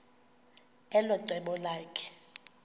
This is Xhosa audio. elo cebo lakhe